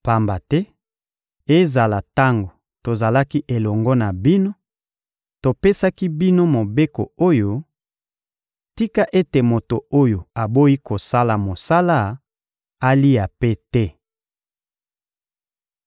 Pamba te, ezala tango tozalaki elongo na bino, topesaki bino mobeko oyo: «Tika ete moto oyo aboyi kosala mosala alia mpe te!»